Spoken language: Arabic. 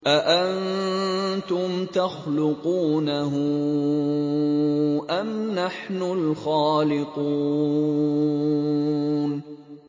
أَأَنتُمْ تَخْلُقُونَهُ أَمْ نَحْنُ الْخَالِقُونَ